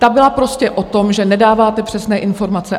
Ta byla prostě o tom, že nedáváte přesné informace.